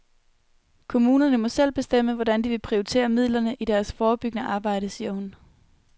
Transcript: Kommunerne må selv bestemme, hvordan de vil prioritere midlerne i deres forebyggende arbejde, siger hun.